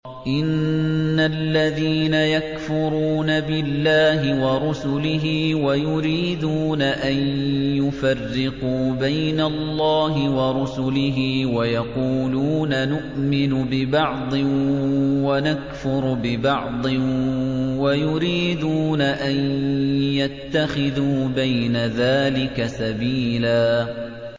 إِنَّ الَّذِينَ يَكْفُرُونَ بِاللَّهِ وَرُسُلِهِ وَيُرِيدُونَ أَن يُفَرِّقُوا بَيْنَ اللَّهِ وَرُسُلِهِ وَيَقُولُونَ نُؤْمِنُ بِبَعْضٍ وَنَكْفُرُ بِبَعْضٍ وَيُرِيدُونَ أَن يَتَّخِذُوا بَيْنَ ذَٰلِكَ سَبِيلًا